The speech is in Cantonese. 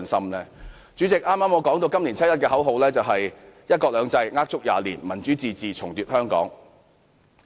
代理主席，正如我剛才所說，今年七一遊行的口號是"一國兩制呃足廿年；民主自治重奪香港"。